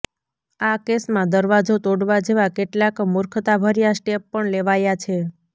આ કેસમાં દરવાજો તોડવા જેવા કેટલાક મૂર્ખતાભર્યા સ્ટેપ પણ લેવાયા છે